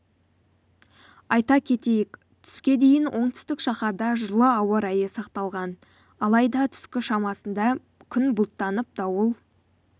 айта кетейік түске дейін оңтүстік шаһарда жылы ауа райы сақталған алайда түскі шамасында күн бұлттанып дауыл